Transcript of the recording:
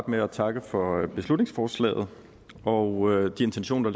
med at takke for beslutningsforslaget og de intentioner